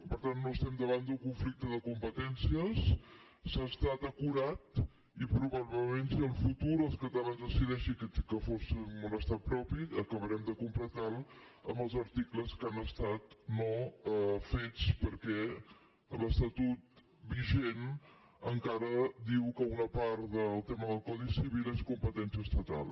per tant no estem davant d’un conflicte de competències s’ha estat acurat i probablement si en el futur els catalans decidissin que fóssim un estat propi acabarem de completar lo amb els articles que han estat no fets perquè l’estatut vigent encara diu que una part del tema del codi civil és competència estatal